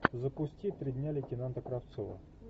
запусти три дня лейтенанта кравцова